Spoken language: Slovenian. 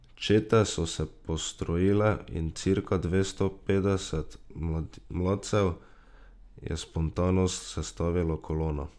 Čete so se postrojile in cirka dvesto petdeset mladcev je spontano sestavilo kolono.